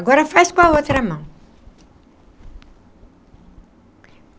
Agora faz com a outra mão.